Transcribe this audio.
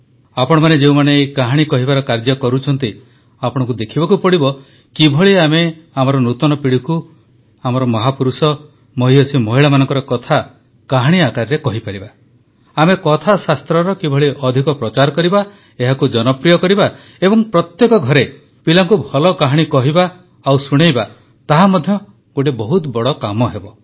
ଆପଣମାନେ ଯେଉଁମାନେ ଏହି କାହାଣୀ କହିବାର କାର୍ଯ୍ୟ କରୁଛନ୍ତି ଆପଣଙ୍କୁ ଦେଖିବାକୁ ପଡ଼ିବ କିଭଳି ଆମେ ଆମର ନୂତନ ପିଢ଼ିକୁ ଆମର ମହାପୁରୁଷ ମହୀୟସୀ ମହିଳାମାନଙ୍କ କଥା କାହାଣୀ ଆକାରରେ କହିପାରିବା ଆମେ କଥାଶାସ୍ତ୍ରର କିଭଳି ଅଧିକ ପ୍ରଚାର କରିବା ଏହାକୁ ଜନପ୍ରିୟ କରିବା ଏବଂ ପ୍ରତ୍ୟେକ ଘରେ ପିଲାଙ୍କୁ ଭଲ କାହାଣୀ କହିବା ଓ ଶୁଣାଇବା ତାହା ମଧ୍ୟ ଗୋଟିଏ ବହୁତ ବଡ଼ କାମ ହେବ